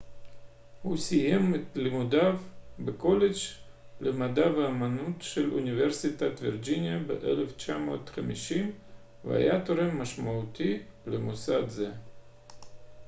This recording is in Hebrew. הוא סיים את לימודיו בקולג' למדע ואמנות של אוניברסיטת וירג'יניה ב-1950 והיה תורם משמעותי למוסד זה